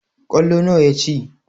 Ƙwallo nawa ya ci?